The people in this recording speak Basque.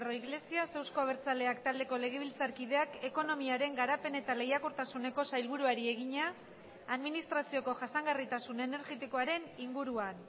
iglesias euzko abertzaleak taldeko legebiltzarkideak ekonomiaren garapen eta lehiakortasuneko sailburuari egina administrazioko jasangarritasun energetikoaren inguruan